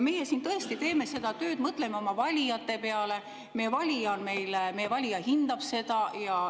Meie siin teeme tööd, mõtleme oma valija peale, meie valija hindab seda.